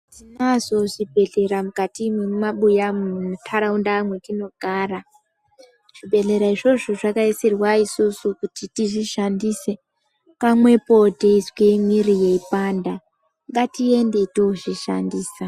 Tinazvo zvibhedhlera mukati mwema buyamwo mu nharaunda mwetino gara zvibhedhlera izvozbo zvakaisirwa isusu kuti tizvi shandise pamwepo teizwa mwiri yeipanda ngatiende toozvishandisa